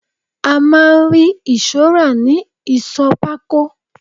A máa ń rí ìṣọ́ rà ni Ìsọ̀ pákó.